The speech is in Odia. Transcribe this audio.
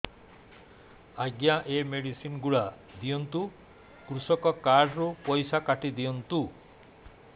ଆଜ୍ଞା ଏ ମେଡିସିନ ଗୁଡା ଦିଅନ୍ତୁ କୃଷକ କାର୍ଡ ରୁ ପଇସା କାଟିଦିଅନ୍ତୁ